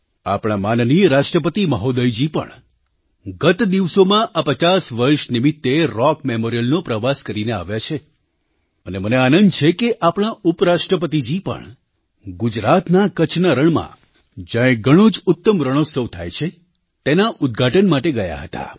આપણા માનનીય રાષ્ટ્રપતિ મહોદયજી પણ ગત દિવસોમાં આ પચાસ વર્ષ નિમિત્તે રૉક મેમોરિયલનો પ્રવાસ કરીને આવ્યા છે અને મને આનંદ છે કે આપણા ઉપરાષ્ટ્રપતિજી પણ ગુજરાતના કચ્છના રણમાં જ્યાં એક ઘણો જ ઉત્તમ રણોત્સવ થાય છે તેના ઉદઘાટન માટે ગયા હતા